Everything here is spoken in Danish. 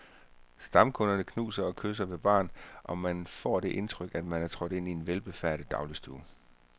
Stamkunderne knuser og kysser ved baren, og man kan få det indtryk, at man er trådt ind i en velbefærdet dagligstue.